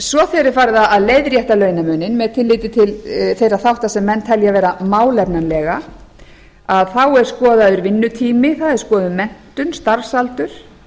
svo þegar er farið að leiðrétta launamuninn með tilliti til þeirra þátta sem menn telja vera málefnalega er skoðaður vinnutími það er skoðuð menntun starfsaldur